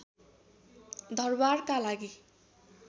दरबारका लागि